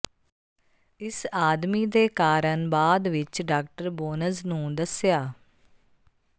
ਇਸ ਆਦਮੀ ਦੇ ਕਾਰਨ ਬਾਅਦ ਵਿਚ ਡਾ ਬੋਨਜ਼ ਨੂੰ ਦੱਸਿਆ